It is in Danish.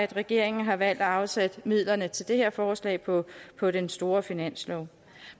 regeringen har valgt at afsætte midlerne til det her forslag på på den store finanslov